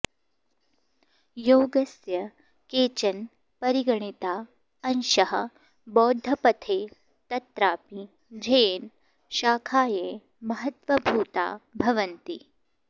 योगस्य केचन परिगणिता अंशाः बौद्धपथे तत्रापि झेन् शाखायै महत्त्वभूता भवन्ति